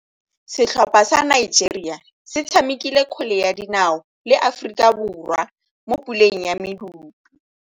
Setlhopha sa Nigeria se tshamekile kgwele ya dinaô le Aforika Borwa mo puleng ya medupe.